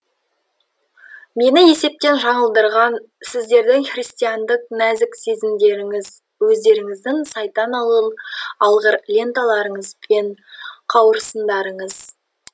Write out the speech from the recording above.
мені есептен жаңылдырған сіздердің христиандық нәзік сезімдеріңіз өздеріңіздің сайтан алғыр ленталарыңыз бен қауырсындарыңыз